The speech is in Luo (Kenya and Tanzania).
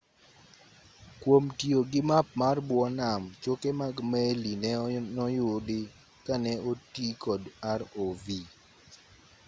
kwom tiyo gi map mar bwo nam choke mag meli no noyudi ka ne oti kod rov